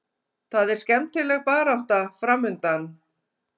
Það er skemmtileg barátta framundan.